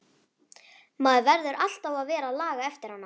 Maður þarf alltaf að vera að laga eftir hana.